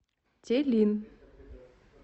телин